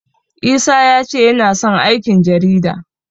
Isa ya ce yana son aikin jarida.